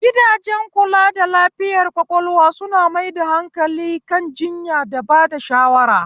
Gidajen kula da lafiyar ƙwaƙwalwa suna mai da hankali kan jiyya da bada shawara